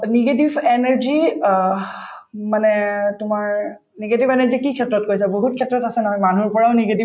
negative energy uh um মানে তোমাৰ negative energy কি ক্ষেত্ৰত কৈছা বহুত ক্ষেত্ৰত আছে নহয় মানুহৰ ঘৰৰ negative